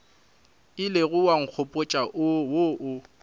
ilego wa nkgopotša wo o